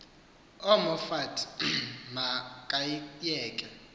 umoffat ma kayiyeke